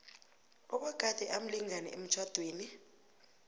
obagade amlingani emtjhadweni